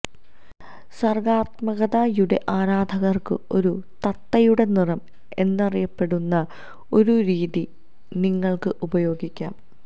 സർഗാത്മകതയുടെ ആരാധകർക്ക് ഒരു തത്തയുടെ നിറം എന്നറിയപ്പെടുന്ന ഒരു രീതി നിങ്ങൾക്ക് ഉപയോഗിക്കാം